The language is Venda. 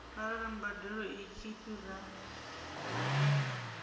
arali mbadeloi tshi fhira mbadelo